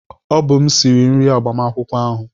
Ọ bụ m sịrị nri agbamakwụkwọ ahụ